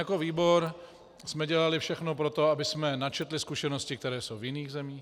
Jako výbor jsme dělali všechno pro to, abychom načetli zkušenosti, které jsou v jiných zemích.